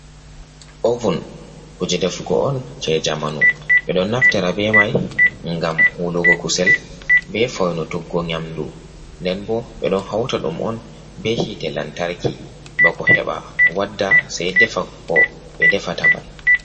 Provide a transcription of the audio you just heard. Ovun kuje defugo on je jamanu. Ɓe ɗo naftira be mai ngam wulugo kusel, be foinutuggo nyamdu. Nden bo ɓe ɗo hauta ɗum on be hite lantarki ba ko heɓa wadda, sei defa ko ɓe defata mai.